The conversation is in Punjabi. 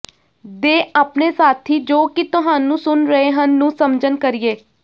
ਦੇ ਆਪਣੇ ਸਾਥੀ ਜੋ ਕਿ ਤੁਹਾਨੂੰ ਸੁਣ ਰਹੇ ਹਨ ਨੂੰ ਸਮਝਣ ਕਰੀਏ